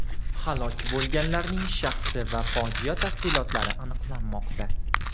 Halok bo‘lganlarning shaxsi va fojia tafsilotlari aniqlanmoqda.